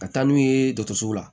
Ka taa n'u ye dɔgɔtɔrɔso la